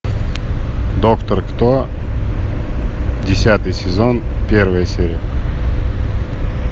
доктор кто десятый сезон первая серия